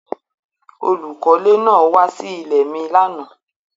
Olúkọlẹ́ náà wa sí ilẹ̀ mi lánà.